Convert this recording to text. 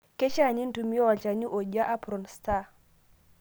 Keishaa nintumia olchani ojia apron star.